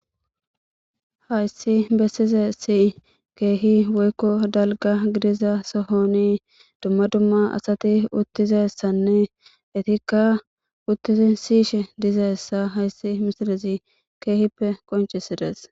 Hayiss besizayiss kehi woyi dalgga gidizza sohonni dumma dumma asati uttidayissanne ettikka uttidi siyishshe dizayissa hayiss misilezzi kehippe qonccisidess.